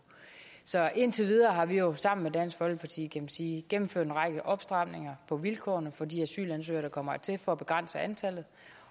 så indtil videre har vi jo sammen med dansk folkeparti kan man sige gennemført en række opstramninger på vilkårene for de asylansøgere der kommer hertil for at begrænse antallet